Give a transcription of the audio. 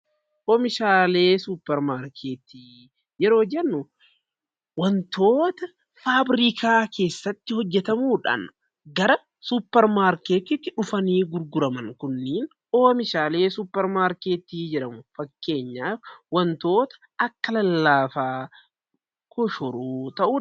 Oomishaalee suupermaarkeetii yeroo jennu, wantoota faabriikaa keessatti hojjetamudha. Gara suupermaarkeetiitti dhufanii gurguraman kunniin oomishaalee suupermaarkeetii jedhamu. Fakkeenyaaf wantoota akka lallaafaa, koshoroo ta'uu danda'a.